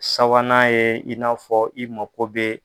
Sabanan ye i n'a fɔ i mako ko bɛ.